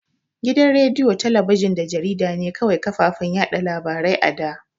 Gidan rediyo, talabijin da jarida ne kawai kafafen yaɗa labarai a da.